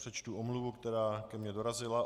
Přečtu omluvu, která ke mně dorazila.